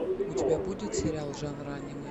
у тебя будет сериал жанра аниме